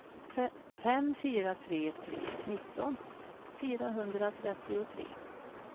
fem fyra tre tre nitton fyrahundratrettiotre